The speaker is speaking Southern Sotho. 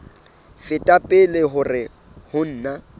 feta pele hore ho na